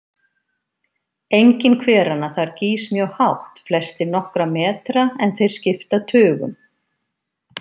Enginn hveranna þar gýs mjög hátt, flestir nokkra metra, en þeir skipta tugum.